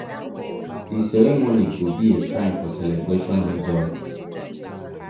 di ceremony go be a time for celebration and joy.